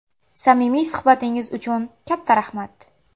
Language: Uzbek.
Samimiy suhbatingiz uchun katta rahmat.